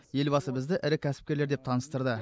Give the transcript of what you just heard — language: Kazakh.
елбасы бізді ірі кәсіпкерлер деп таныстырды